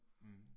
Mh